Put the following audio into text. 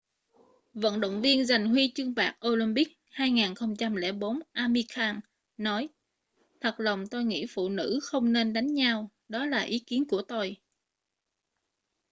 vận động viên giành huy chương bạc olympic 2004 amir khan nói thật lòng tôi nghĩ phụ nữ không nên đánh nhau đó là ý kiến của tôi